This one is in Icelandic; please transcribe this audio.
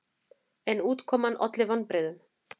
En útkoman olli vonbrigðum.